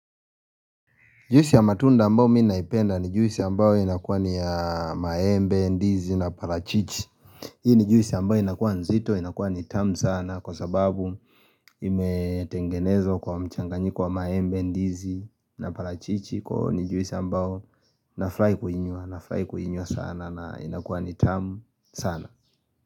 Juice ya matunda ambao mimi naipenda ni juice ambao inakuwa ni ya maembe, ndizi na parachichi Hii ni juice ambao inakuwa nzito, inakuwa ni tamu sana kwa sababu imetengenezwa kwa mchanganyiko wa maembe, ndizi na parachichi kwa hio ni juice ambao nafurahi kuinywa, na furahi kuinywa sana na inakuwa ni tamu sana.